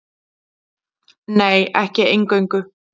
Nei, ekki eingöngu.